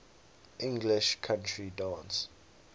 english country dance